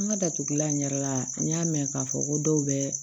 An ka datugulan ɲɛ yɛrɛ la n y'a mɛn k'a fɔ ko dɔw bɛ